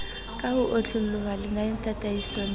ka ho otloloha lenanetataisong la